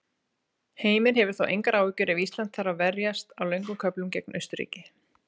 Heimir hefur þó engar áhyggjur ef Ísland þarf að verjast á löngum köflum gegn Austurríki.